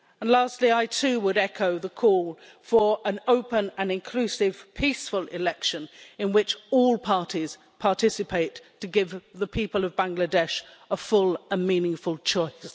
Lastly, I too would echo the call for an open and inclusive, peaceful election in which all parties participate to give the people of Bangladesh a full and meaningful choice.